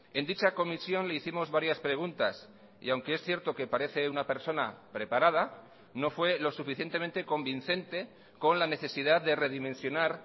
en dicha comisión le hicimos varias preguntas y aunque es cierto que parece una persona preparada no fue lo suficientemente convincente con la necesidad de redimensionar